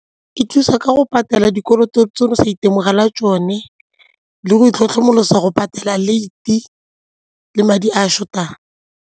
E thusa ka go patela dikoloto tse o sa itemogela tsone le go itlhokomolosa go patela late le madi a short-ang.